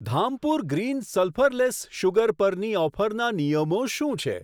Dhampur green sulphurless sugar પરની ઓફરના નિયમો શું છે?